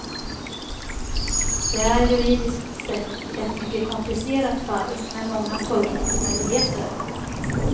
Det är juridiskt sett ett mycket komplicerat fall med många tolkningsmöjligheter.